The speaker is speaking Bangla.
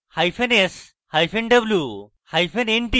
s hyphen sw hyphen w